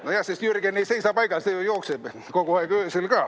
Nojah, sest Jürgen ei seisa paigal, see ju jookseb kogu aeg, öösel ka.